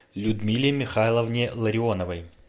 людмиле михайловне ларионовой